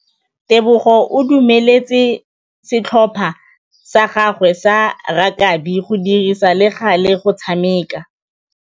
Tebogô o dumeletse setlhopha sa gagwe sa rakabi go dirisa le galê go tshameka.